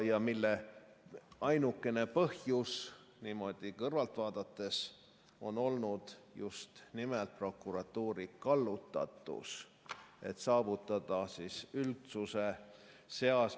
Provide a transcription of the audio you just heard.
... ja mille ainukene põhjus, niimoodi kõrvalt vaadates, on olnud just nimelt prokuratuuri kallutatus, et saavutada üldsuse seas ...